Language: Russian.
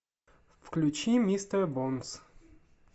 включи мистер бонс